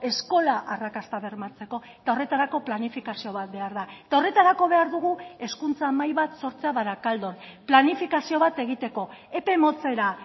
eskola arrakasta bermatzeko eta horretarako planifikazio bat behar da eta horretarako behar dugu hezkuntza mahai bat sortzea barakaldon planifikazio bat egiteko epe motzera